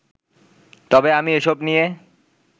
তবে আমি এসব নিয়ে